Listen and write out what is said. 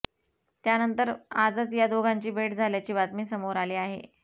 त्यानंतर आजच या दोघांची भेट झाल्याची बातमी समोर आली आहे